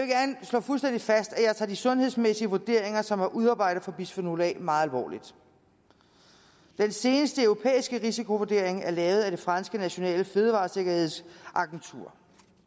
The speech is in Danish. jeg vil fast at jeg tager de sundhedsmæssige vurderinger som er udarbejdet for bisfenol a meget alvorligt den seneste europæiske risikovurdering er lavet af det franske nationale fødevaresikkerhedsagentur